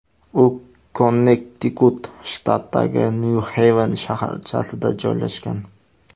U Konnektikut shtatidagi Nyu-Xeyven shaharchasida joylashgan.